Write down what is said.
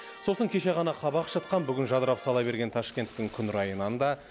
сосын кеше ғана қабақ шытқан бүгін жадырап сала берген ташкенттің күн райынан да